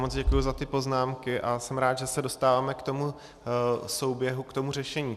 Moc děkuji za ty poznámky a jsem rád, že se dostáváme k tomu souběhu, k tomu řešení.